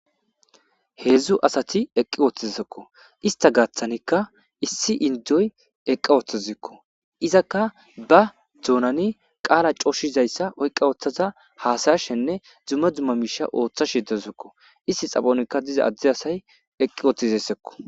Hezzu assathi eqiwothidakko istha gathanika issi indoyi eqa wothazasikko izzaka ba donnani qalla coshizayssa uyqawothaza hasa'shane dumma dumma misha othaze dazusikko isthi xaphonikka dizza adde assayi eqi wothidesekko.